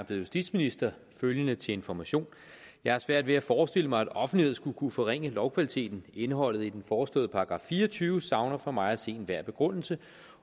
justitsminister følgende til information jeg har svært ved at forestille mig at offentlighed skulle kunne forringe lovkvaliteten indholdet i den foreslåede § fire og tyve savner for mig at se enhver begrundelse